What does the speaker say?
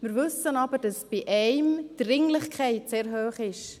Wir wissen aber, dass die Dringlichkeit bei der einen sehr hoch ist.